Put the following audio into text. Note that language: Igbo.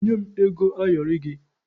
Nye m ego ayọrị gị!